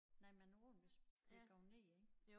Nej man er på den hvis det går ned ik